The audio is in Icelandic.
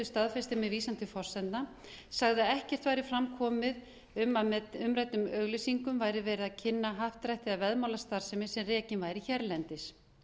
staðfesti með vísan til forsendna sagði að ekkert væri fram komið um að með umræddum auglýsingum væri verið að kynna happdrættis eða veðmálastarfsemi sem rekin væri hérlendis